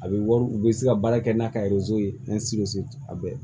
A bɛ wari u bɛ se ka baara kɛ n'a ka ye a bɛ